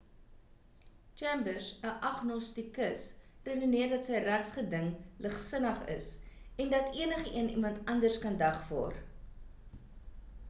chambers 'n agnostikus redeneer dat sy regsgeding ligsinnig is en dat enigeen iemand anders kan dagvaar